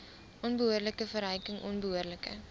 onbehoorlike verryking onbehoorlike